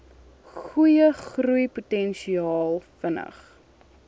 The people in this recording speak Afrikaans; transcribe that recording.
goeie groeipotensiaal vinnig